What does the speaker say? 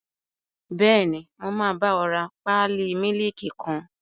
Bẹ́ẹ̀ni, mo máa bá ọ rà pálí mílìkì kan